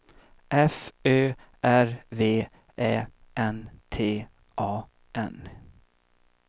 F Ö R V Ä N T A N